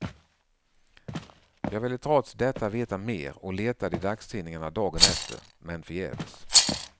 Jag ville trots detta veta mer och letade i dagstidningarna dagen efter, men förgäves.